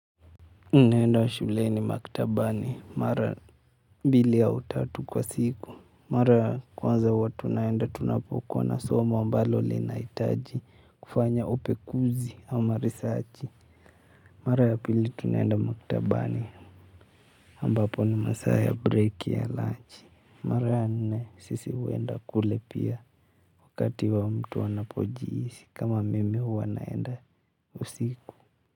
Ninaenda shuleni maktabani mara mbili au tatu kwa siku. Mara kwanza huwa tunaenda tunapokuwa na somo ambalo linahitaji kufanya upekuzi ama risachi. Mara ya pili tunaenda maktabani ambapo ni masaa ya break ya lunch. Mara ya nene sisi huenda kule pia wakati wa mtu anapojihisi kama mimi huwa ninaenda usiku.